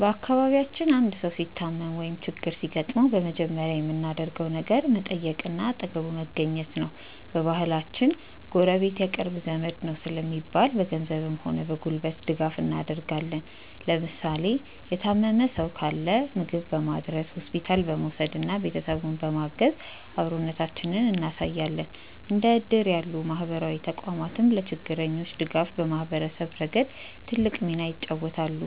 በአካባቢያችን አንድ ሰው ሲታመም ወይም ችግር ሲገጥመው በመጀመሪያ የምናደርገው ነገር መጠየቅና አጠገቡ መገኘት ነው። በባህላችን "ጎረቤት የቅርብ ዘመድ ነው" ስለሚባል፣ በገንዘብም ሆነ በጉልበት ድጋፍ እናደርጋለን። ለምሳሌ የታመመ ሰው ካለ ምግብ በማድረስ፣ ሆስፒታል በመውሰድና ቤተሰቡን በማገዝ አብሮነታችንን እናሳያለን። እንደ እድር ያሉ ማህበራዊ ተቋማትም ለችግረኞች ድጋፍ በማሰባሰብ ረገድ ትልቅ ሚና ይጫወታሉ።